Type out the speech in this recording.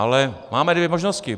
Ale máme dvě možnosti.